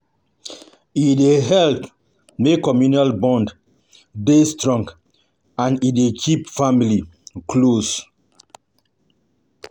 Local events na avenue to meet new pipo and also network